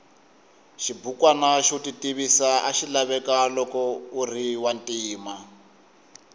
xibukwana xo titivisa axilaveka loko uriwantima